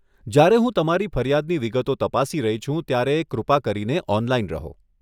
જ્યારે હું તમારી ફરિયાદની વિગતો તપાસી રહી છું ત્યારે કૃપા કરીને ઓનલાઇન રહો.